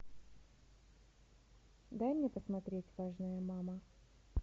дай мне посмотреть важная мама